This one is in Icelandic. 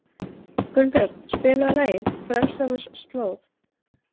Gunnbjörn, spilaðu lagið „Frelsarans slóð“.